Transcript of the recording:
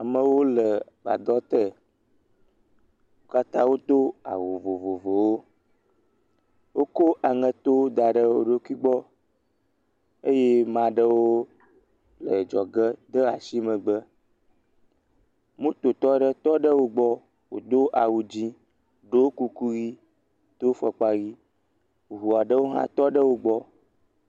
Amewo le gbadɔ tee. Wo katã wodo awu vovovowo. Wokɔ aŋɛto da ɖe wo ɖokui gbɔ eye maa ɖewo le dzɔge de ashi megbe. Mototɔ ɖe tɔ ɖe wogbɔ, wòdo awu dzɛ̃, ɖɔ kuku yii, do fɔkpa yii, ŋu aɖewo hã tɔ ɖe wogbɔ.